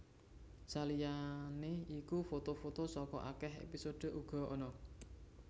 Saliyané iku foto foto saka akèh épisode uga ana